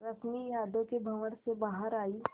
रश्मि यादों के भंवर से बाहर आई